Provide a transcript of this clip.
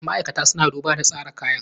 Ma'aikata suna duba da tsara kayan.